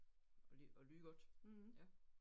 At ly at lyde godt ja